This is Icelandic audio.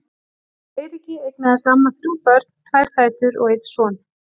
Með Eiríki eignaðist amma þrjú börn, tvær dætur og einn son.